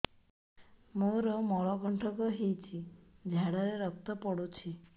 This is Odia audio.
ମୋରୋ ମଳକଣ୍ଟକ ହେଇଚି ଝାଡ଼ାରେ ରକ୍ତ ପଡୁଛି